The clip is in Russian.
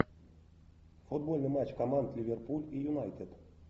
футбольный матч команд ливерпуль и юнайтед